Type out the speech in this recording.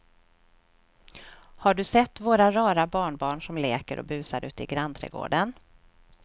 Har du sett våra rara barnbarn som leker och busar ute i grannträdgården!